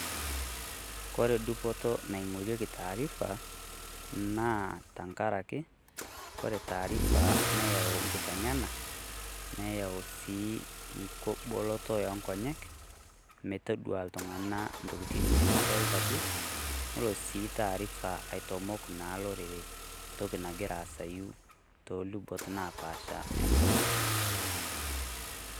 Kore dupoto naing'orieki taarifa naa tengarake kore taarifa, neyau enkiteng'ena, neyau sii nkiboloto oo nkonyek metadua iltung'ana intokitin nemedolita duo, nelo sii taarifa aitamok naa olorere ntoki nagira aasai too lubot enkop.